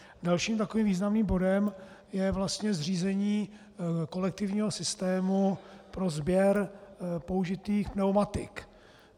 Dalším takovým významným bodem je vlastně zřízení kolektivního systému pro sběr použitých pneumatik.